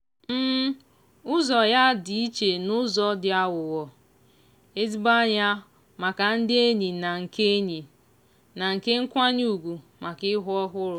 ụzọ ya dị iche n'ụzọ dị aghụghọ - ezigbo anya maka ndị enyi na nke enyi na nke nkwanye ugwu maka ihu ọhụrụ.